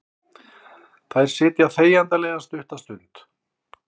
Þær sitja þegjandalegar stutta stund.